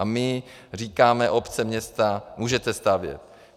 A my říkáme: Obce, města, můžete stavět.